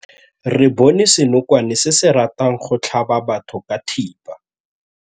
Re bone senokwane se se ratang go tlhaba batho ka thipa.